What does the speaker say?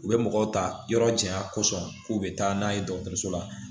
U bɛ mɔgɔw ta yɔrɔ janya kosɔn k'u bɛ taa n'a ye dɔgɔtɔrɔso la